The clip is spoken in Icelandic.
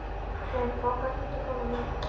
Fregn, bókaðu hring í golf á miðvikudaginn.